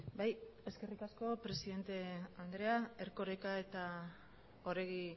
bai eskerrik asko presidente andrea erkoreka eta oregi